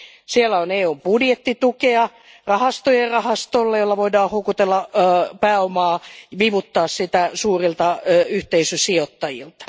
Siellä on EUn budjettitukea, rahastojen rahasto, jolle voidaan houkutella pääomaa, vivuttaa sitä suurilta yhteisösijoittajilta.